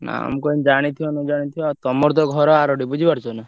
ନାଁ ମୁଁ କହିନି ଜାଣିଥିବ ନ ଜାଣିଥିବ। ତମର ତ ଘର ଆରୋଡି ବୁଝି ପାରୁଛ ନା।